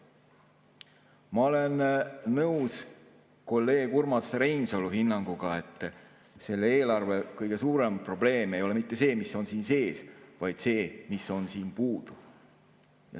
Ma olen nõus kolleeg Urmas Reinsalu hinnanguga, et selle eelarve kõige suurem probleem ei ole mitte see, mis siin sees on, vaid see, mis on siit puudu.